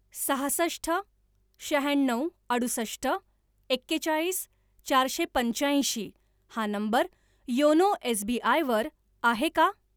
सहासष्ट शहाण्णव अडुसष्ट एकेचाळीस चारशे पंच्याऐंशी हा नंबर योनो एसबीआय वर आहे का?